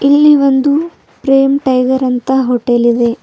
ಇಲ್ಲಿ ಒಂದು ಪ್ರೇಮ್ ಟೈಗರ್ ಅಂತ ಹೋಟೆಲ್ ಇದೆ.